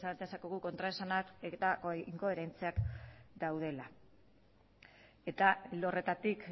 dezakegu kontraesanak eta inkoherentziak daudela eta ildo horretatik